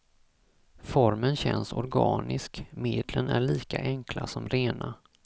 Formen känns organisk, medlen är lika enkla som rena.